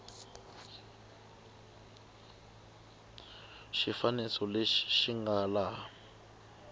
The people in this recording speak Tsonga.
xifaniso lexi xi nga laha